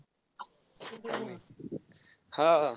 हा, हा.